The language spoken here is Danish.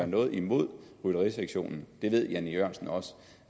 noget imod rytterisektionen ved herre jan e jørgensen også